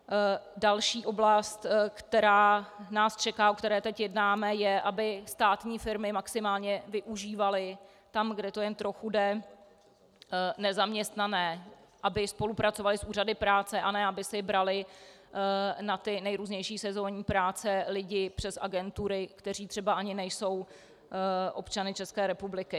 Další oblast, která nás čeká, o které teď jednáme, je, aby státní firmy maximálně využívaly tam, kde to jen trochu jde, nezaměstnané, aby spolupracovaly s úřady práce, a ne aby si braly na ty nejrůznější sezónní práce lidi přes agentury, kteří třeba ani nejsou občany České republiky.